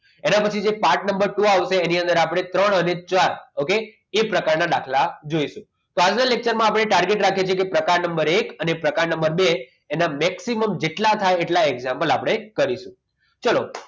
એના પછી છે પાંચ નંબર શું આવશે એની અંદર આપણે ત્રણ અને ચાર okay એ પ્રકારના દાખલા જોઈશું તો આજના lecture માં આપણે targer રાખે છે કે પ્રકાર નંબર એક અને પ્રકાર નંબર બે એના maximum જેટલા થાય એટલા example આપણે જો કરીશું ચલો